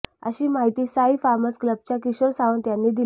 अशी माहीती साई फामर्स क्लबच्या किशोर सावंत यांनी दिली